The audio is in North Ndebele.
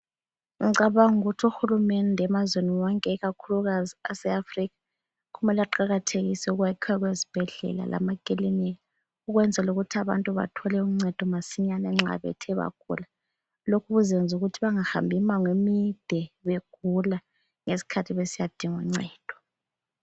Ngicabanga ukuthi uhulumende emazweni wonke kakhulukazi aseAfrica kumele aqakathekise ukwakha kwezibhedlela lamakilinika ukwenzela ukuthi abantu bathole uncedo masinyane nxa bethe bagula. Lokhu kuzenza ukuthi bangahambi umango emide begula ngesikhathi besiyadinga uncedo.